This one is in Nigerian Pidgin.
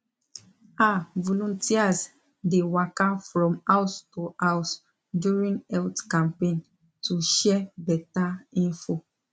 ah volunteers dey waka from house to house during health campaign to share better info